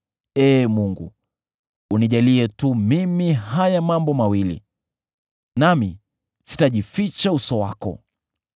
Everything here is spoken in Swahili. “Ee Mungu, unijalie tu mimi haya mambo mawili, nami sitajificha uso wako: